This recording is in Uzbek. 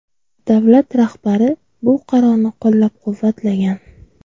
Davlat rahbari bu qarorni qo‘llab-quvvatlagan.